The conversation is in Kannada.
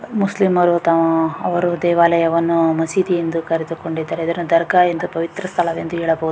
ಮುಸ್ಲಿಮರು ತಮ್ಮ ಅವರು ತಮ್ಮ ದೇವಾಲಯವನ್ನು ಮಸೀದಿ ಎಂದು ಕರೆದುಕೊಂಡಿದ್ದಾರೆ ಇದನ್ನು ದರ್ಗಾ ಎಂದು ಪವಿತ್ರ ಸ್ಥಳ ಎಂದು ಹೇಳಬಹುದು.